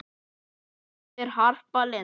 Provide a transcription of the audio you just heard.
Þín dóttir, Harpa Lind.